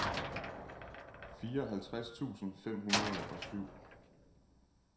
fireoghalvtreds tusind fem hundrede og syv